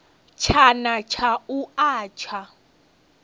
tshana tsha u a tsha